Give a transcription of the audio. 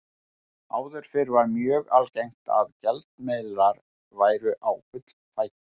Áður fyrr var mjög algengt að gjaldmiðlar væru á gullfæti.